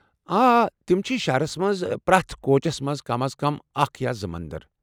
آ، تِم چھ ۔ شہرس منٛز چھ پرٛٮ۪تھ كوچس منٛز کم از کم اکھ یا زٕ مندر۔